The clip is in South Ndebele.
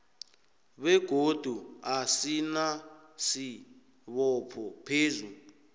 begodu asinasibopho phezu